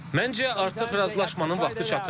Məncə artıq razılaşmanın vaxtı çatıb.